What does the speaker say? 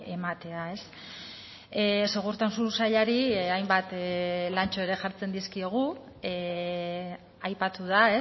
ematea segurtasun sailari hainbat lantxo ere jartzen dizkiogu aipatu da